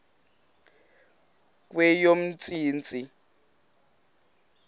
kweyomntsintsi